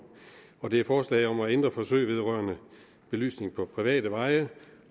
og det er forslaget om at ændre forsøg vedrørende belysning på private veje